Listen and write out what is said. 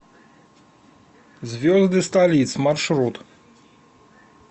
звезды столиц маршрут